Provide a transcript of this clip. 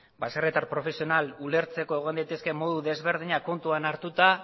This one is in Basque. baserritar profesional ulertzeko egon daitezkeen modu desberdinak kontuan hartuta